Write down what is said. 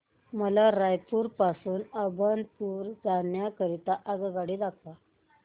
मला रायपुर पासून अभनपुर जाण्या करीता आगगाडी दाखवा